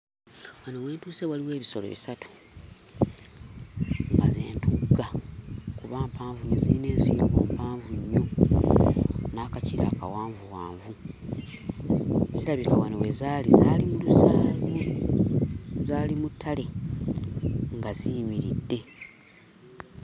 Wano we ntuuse waliwo ebisolo bisatu nga ze ntugga kuba mpanvu nnyo ziyina ensingo mpanvu nnyo n'akakira akawanvuwanvu zirabika wano we zaali zaali mu lusa mu zaali mu ttale nga ziyimiridde.